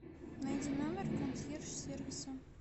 найди номер консьерж сервиса